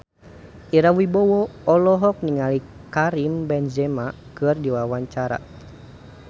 Ira Wibowo olohok ningali Karim Benzema keur diwawancara